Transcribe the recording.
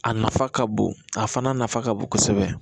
A nafa ka bon a fana nafa ka bon kosɛbɛ